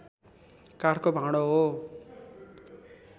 काठको भाँडो हो